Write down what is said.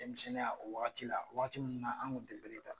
Denmisɛnninya o wagati la waati mun na an kun te bere ta.